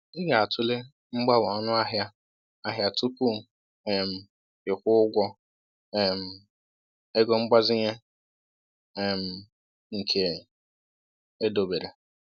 Ị ga-atụle mgbanwe ọnụahịa ahịa tupu um ị kwụọ ụgwọ um ego mgbazinye um nke edobere.